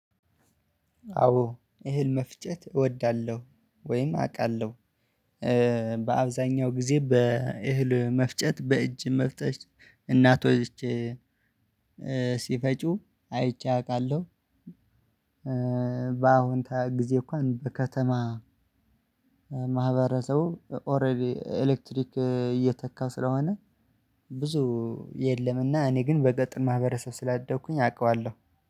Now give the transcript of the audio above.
አዎ እህል መፍጨት እወዳለሁ ወይም አውቃለሁ በአብዛኛው ጊዜ በእህል መፍጨት በእጅ መፍጨት እናቶች ሲፈጩ አይቼ አውቃለሁ በአሁን ጊዜ እንኳን በከተማ ማህበረሰቡ ኦሬዲ ኤሌክትሪክ እየተካ ስለሆነ ብዙ የለምና እኔ ግን በገጠር ማህበረሰብ ስላደኩኝ አውቃለሁ።